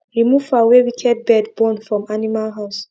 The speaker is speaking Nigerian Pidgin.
remove fowl wey wicked bird born from animal house